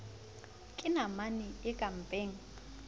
ke namane e ka mpeng